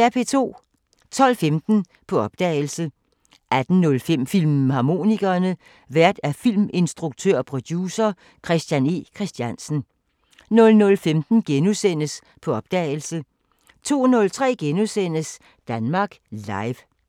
12:15: På opdagelse 18:05: Filmharmonikerne: Vært filminstruktør og producer Christian E. Christiansen 00:15: På opdagelse * 02:03: Danmark Live *